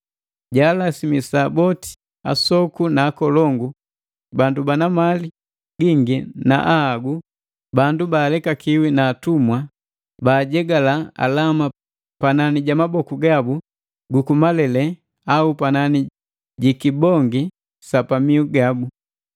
Jaalasimisa boti, asoku na akolongu, bandu bana mali gingi na ahagu, bandu baalekakiwi na atumwa, baajegala alama panani ja maboku gabu gu malele au panani ji kibongi sa pamihu gabu.